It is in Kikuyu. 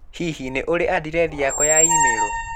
Hihi nĩ urĩ andirethi yakwa ya email.?